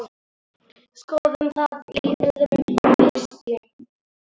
Skoðum það í öðrum pistli.